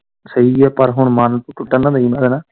ਸਹੀ ਐ ਪਰ ਹੁਣ ਮਨ ਟੁੱਟਣ ਨਾ ਦਈ ਪਰ।